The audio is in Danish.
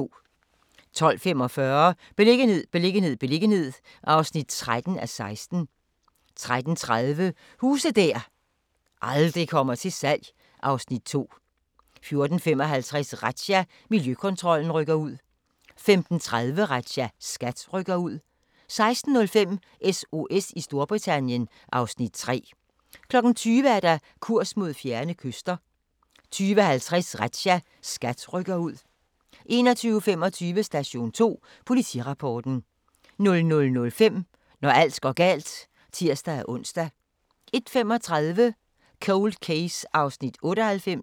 12:45: Beliggenhed, beliggenhed, beliggenhed (13:16) 13:30: Huse der aldrig kommer til salg (Afs. 2) 14:55: Razzia – Miljøkontrollen rykker ud 15:30: Razzia - SKAT rykker ud 16:05: SOS i Storbritannien (Afs. 3) 20:00: Kurs mod fjerne kyster 20:50: Razzia - SKAT rykker ud 21:25: Station 2 Politirapporten 00:05: Når alt går galt (tir-ons) 01:35: Cold Case (98:156)